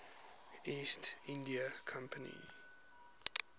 east india company